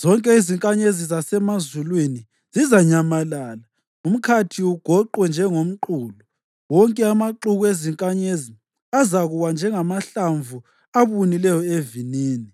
Zonke izinkanyezi zasemazulwini zizanyamalala, umkhathi ugoqwe njengomqulu; wonke amaxuku ezinkanyezi azakuwa njengamahlamvu abunileyo evinini